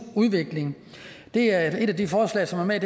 udvikling det er et af de forslag som er